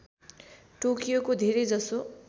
टोकियोको धेरै जसो